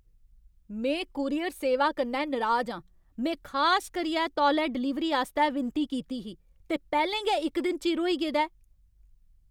में कूरियर सेवा कन्नै नराज आं। में खास करियै तौले डलीवरी आस्तै विनती कीती ही, ते पैह्लें गै इक दिन चिर होई गेदा ऐ!